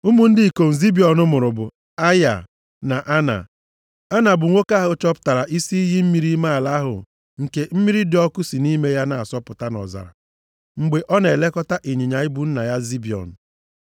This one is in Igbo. Ụmụ ndị ikom Zibiọn mụrụ bụ Aịa na Ana. Ana bụ nwoke ahụ chọpụtara isi iyi mmiri ime ala ahụ nke mmiri dị ọkụ si nʼime ya na-asọpụta nʼọzara, mgbe ọ na-elekọta ịnyịnya ibu nna ya Zibiọn.